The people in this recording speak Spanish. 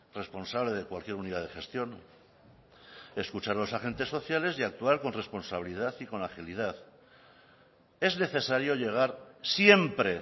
responsable de cualquier unidad de gestión escuchar los agentes sociales y actuar con responsabilidad y con la agilidad es necesario llegar siempre